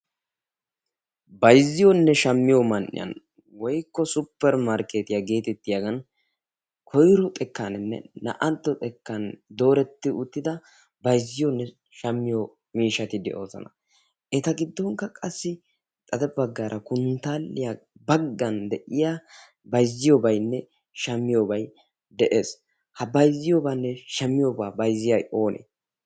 Bayzziyonne shammiyo man''iyan woykko suppermarketiyaa koyro xekkaninne naa''antto xekkan dooreti uttida bayzziyoone shammiyo miishshati de'oosona. eta giddonkka qassi konttaaliyaa baggan de'iyaa bayzziyobaynne shammiyoobay de'ees. ha bayzziyoobanne shaamiyooba bayzziyay oonee?